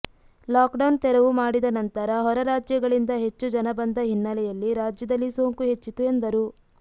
lock down ತೆರವು ಮಾಡಿದ ನಂತರ ಹೊರ ರಾಜ್ಯಗಳಿಂದ ಹೆಚ್ಚು ಜನ ಬಂದ ಹಿನ್ನೆಲೆಯಲ್ಲಿ ರಾಜ್ಯದಲ್ಲಿ ಸೋಂಕು ಹೆಚ್ಚಿತು ಎಂದರು